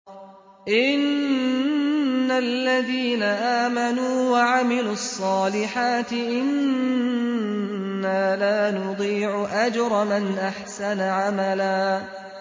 إِنَّ الَّذِينَ آمَنُوا وَعَمِلُوا الصَّالِحَاتِ إِنَّا لَا نُضِيعُ أَجْرَ مَنْ أَحْسَنَ عَمَلًا